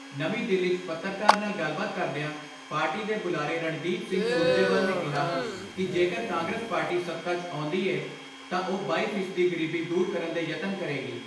ਨਵੀਂ ਦਿੱਲੀ 'ਚ ਪੱਤਰਕਾਰ ਨਾਲ ਗਲਬਾਤ ਕਰਦਿਆਂ ਪਾਰਟੀ ਦੇ ਬੁਲਾਰੇ ਰਣਦੀਪ ਸਿੰਘ ਸੁਰਜੇਵਾਲ ਨੇ ਕਿਹਾ ਕਿ ਜੇਕਰ ਕਾਂਗਰਸ ਪਾਰਟੀ ਸੱਤਾ 'ਚ ਆਉਂਦੀ ਏ ਤਾਂ ਉਹ ਬਾਈ ਫ਼ੀਸਦੀ ਗਰੀਬੀ ਦੂਰ ਕਰਨ ਦੇ ਯਤਨ ਕਰੇਗੀ।